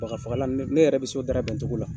Baga fagalan ne yɛrɛ bɛ se o darabɛn cogo la.